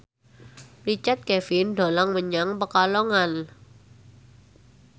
Richard Kevin dolan menyang Pekalongan